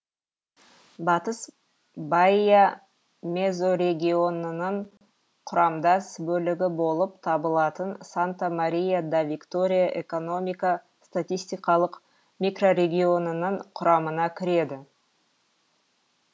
батыс баия мезорегионының құрамдас бөлігі болып табылатын санта мария да витория экономика статистикалық микрорегионының құрамына кіреді